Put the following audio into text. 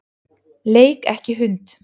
Leik ekki hund.